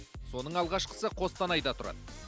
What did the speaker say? соның алғашқысы қостанайда тұрады